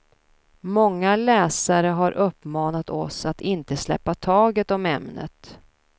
Många läsare har uppmanat oss att inte släppa taget om ämnet.